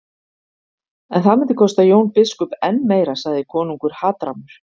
En það myndi kosta Jón biskup enn meira, sagði konungur hatrammur.